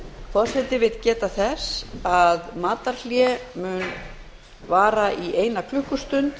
forseti vill geta þess að matarhlé mun vara í eina klukkustund